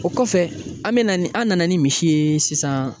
O kɔfɛ an bɛ na ni an nana ni misi ye sisan.